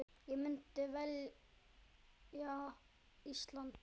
Ég myndi velja Ísland.